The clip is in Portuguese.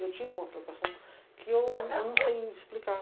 Eu tinha uma preocupação que eu eu não sei explicar.